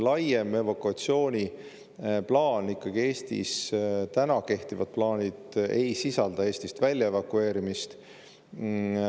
Laiem evakuatsiooniplaan, Eestis kehtiv plaan ei sisalda Eestist välja evakueerimist.